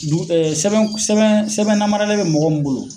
Dugu ɛɛ Sɛbɛn sɛbɛn sɛbɛn namaralen be mɔgɔ min bolo